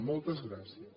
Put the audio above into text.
moltes gràcies